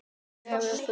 Ég eða þú?